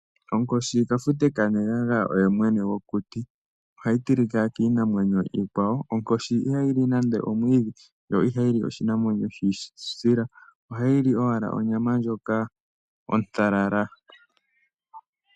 Onkoshi, kafute kanegaga oye mwene gwokuti. Ohayi tilika kiinamwenyo iikwawo. Onkoshi iha yi li nande omwiidhi, yo i ha yi li oshinamwenyo shi isila. Ohayi li owala onyama ndjoka ontalala.